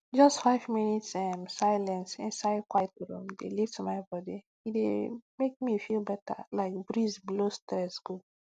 just five minute um silence inside quiet room dey lift my body e dey make me feel better like breeze blow stress go